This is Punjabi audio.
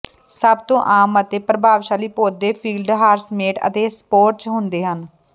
ਸਭ ਤੋਂ ਆਮ ਅਤੇ ਪ੍ਰਭਾਵਸ਼ਾਲੀ ਪੌਦੇ ਫੀਲਡ ਹਾਰਸਸੇਟ ਅਤੇ ਸਪੋਰਚ ਹੁੰਦੇ ਹਨ